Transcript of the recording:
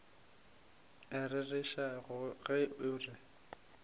a rereša ge o re